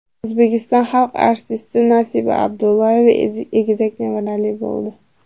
O‘zbekiston xalq artisti Nasiba Abdullayeva egizak nevarali bo‘ldi.